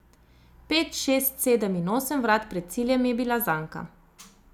Pet, šest, sedem in osem vrat pred ciljem je bila zanka.